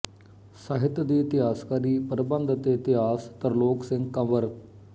ਸਾਹਿਤ ਦੀ ਇਤਿਹਾਸਕਾਰੀ ਪ੍ਰਬੰਧ ਤੇ ਇਤਿਹਾਸ ਤਰਲੋਕ ਸਿੰਘ ਕੰਵਰ